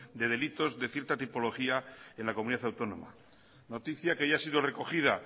de delitos de cierta tipología en la comunidad autónoma noticia que ya ha sido recogida